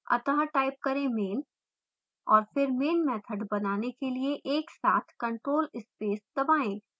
अत: type करें main और फिर main मैथड बनाने के लिए एक साथ ctrl + space दबाएँ